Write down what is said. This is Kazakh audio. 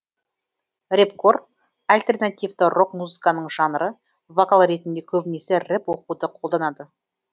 рэпкор альтернативті рок музыканың жанры вокал ретінде көбінесе рэп оқуды қолданады